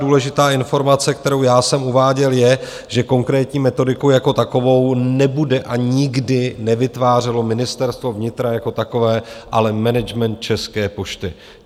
Důležitá informace, kterou já jsem uváděl, je, že konkrétní metodiku jako takovou nebude a nikdy nevytvářelo Ministerstvo vnitra jako takové, ale management České pošty.